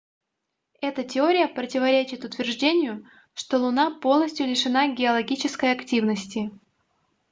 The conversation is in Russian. эта теория противоречит утверждению что луна полностью лишена геологической активности